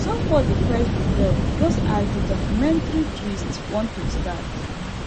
somebody press the bell just as the documentary twist want to start